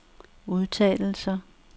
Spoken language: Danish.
udtalelser